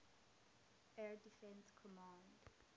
air defense command